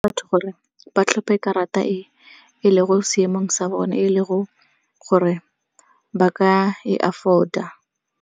Batho gore ba tlhophe karata e e le go seemong sa bone, e le go gore ba ka e afford-a.